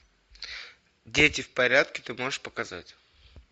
дети в порядке ты можешь показать